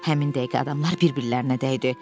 Həmin dəqiqə adamlar bir-birlərinə dəydi.